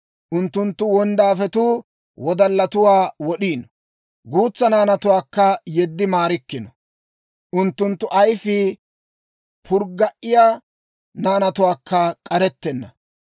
Unttunttu wonddaafetuu wodallatuwaa wod'iino; guutsa naanatuwaakka yeddi maarikkino; unttunttu ayfii purgga"iyaa naanatookka k'arettenna.